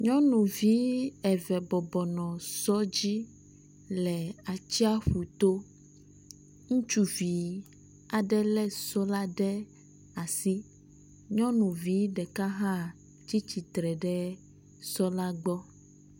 Nyɔnuvi eve bɔbɔnɔ sɔ dzi le atsiaƒuto, ŋutsuvi aɖe le so la ɖe asi, nyɔŋuvi ɖeka hã tsi tsitre ɖe sɔ la gbɔ